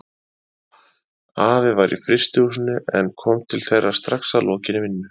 Afi var í frystihúsinu en kom til þeirra strax að lokinni vinnu.